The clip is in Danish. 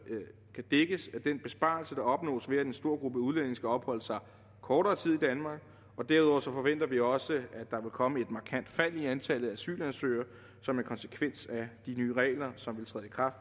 kan dækkes af den besparelse der opnås ved at en stor gruppe udlændinge skal opholde sig kortere tid i danmark derudover forventer vi også at der vil komme et markant fald i antallet af asylansøgere som en konsekvens af de nye regler som ville træde i kraft